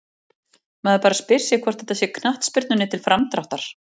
Maður bara spyr sig hvort þetta sé knattspyrnunni til framdráttar?